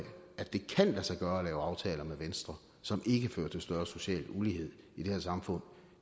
at det kan lade sig gøre at lave aftaler med venstre som ikke fører til større social ulighed i det her samfund